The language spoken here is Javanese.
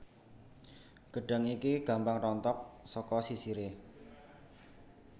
Gedhang iki gampang rontok saka sisire